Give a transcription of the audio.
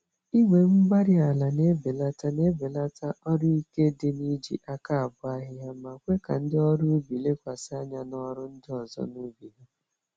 Igwe-mgbárí-ala na-ebelata n'ebelata ọrụ ike dị n'iji àkà abọ ahịhịa, ma kwe ka ndị ọrụ ubi lekwasị anya n'ọrụ ndị ọzọ, n'ubi ha.